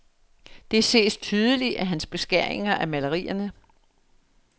Det ses tydeligt i hans beskæringer af malerierne.